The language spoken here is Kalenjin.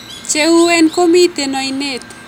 Cheuwen komiten oinet